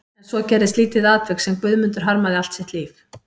En svo gerðist lítið atvik sem Guðmundur harmaði allt sitt líf.